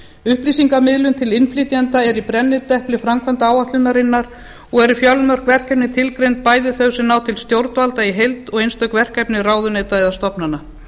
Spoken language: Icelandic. upplýsingamiðlun til innflytjenda er í brennidepli framkvæmdaáætlunarinnar og eru fjölmörg verkefni tilgreind bæði þau sem ná til stjórnvalda í heild og einstök verkefni ráðuneyta eða stofnana